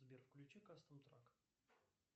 сбер включи кастл танк